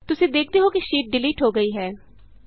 ਤੁਸੀਂ ਦੇਖਦੇ ਹੋ ਕਿ ਸ਼ੀਟ ਡਿਲੀਟ ਹੋ ਗਈ ਹੈ